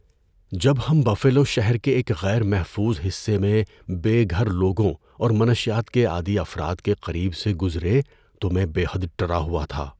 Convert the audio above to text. ‏جب ہم بفیلو شہر کے ایک غیر محفوظ حصے میں بے گھر لوگوں اور منشیات کے عادی افراد کے قریب سے گزرے تو میں بے حد ڈرا ہوا تھا۔